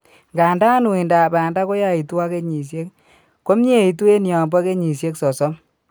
Nganda uindab banda koyaitu ak kenyisiek, komieitu en yombo kenyisiek 30